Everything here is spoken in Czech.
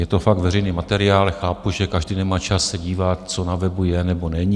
Je to fakt veřejný materiál, chápu, že každý nemá čas se dívat, co na webu je, nebo není.